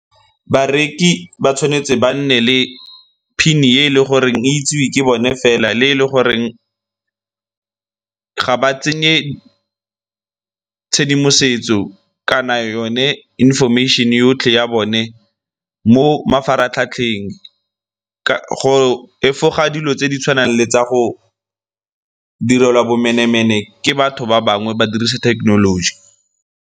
Bareki ba tshwanetse ba nne le pin-e e e le goreng e itsewe ke bone fela le e e le goreng ga ba tsenye tshedimosetso kana yone information-e yotlhe ya bone mo mafaratlhatlheng go efoga dilo tse di tshwanang le tsa go direlwa bomenemene ke batho ba bangwe ba dirisa thekenoloji.